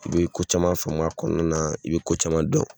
I bɛ ko caman faamu a kɔnɔna na, i bɛ ko caman dɔn.